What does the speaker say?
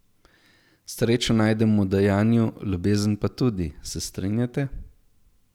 Srečo najdemo v dajanju, ljubezen pa tudi, se strinjate?